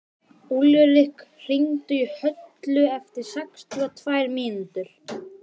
Úlrik, hringdu í Höllu eftir sextíu og tvær mínútur.